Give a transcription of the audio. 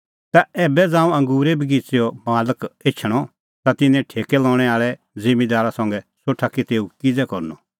तै ऐबै ज़ांऊं अंगूरे बगिच़ेओ मालक एछणअ ता तिन्नां ठेकै लणै आल़ै ज़िम्मींदारा संघै सोठा कि तेऊ किज़ै करनअ